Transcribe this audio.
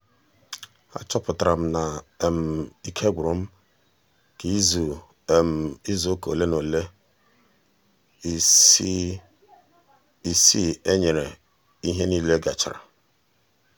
a chọpụtara m na um ike gwụrụ m ka um izu um izu ụka ole na ole ịsị ee nyere ihe um nile gachara